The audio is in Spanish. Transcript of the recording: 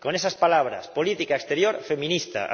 Con esas palabras política exterior feminista.